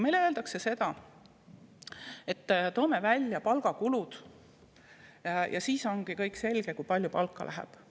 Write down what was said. Öeldakse, et toome välja palgakulud ja siis ongi kõik selge, kui palju palka läheb.